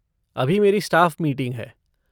अभी मेरी staff meeting है।